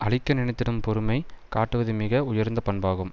அழிக்க நினைத்திடும் பொறுமை காட்டுவது மிக உயர்ந்த பண்பாகும்